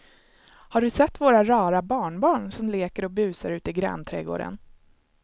Har du sett våra rara barnbarn som leker och busar ute i grannträdgården!